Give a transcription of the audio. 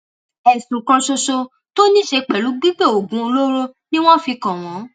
ẹsùn kan ṣoṣo tó ní í ṣe pẹlú gbígbé oògùn olóró ni wọn fi kàn wọn